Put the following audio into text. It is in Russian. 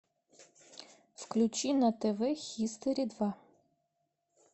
включи на тв хистори два